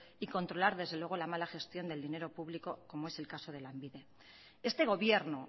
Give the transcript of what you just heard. y controlar desde luego la mala gestión del dinero público como es el caso de lanbide este gobierno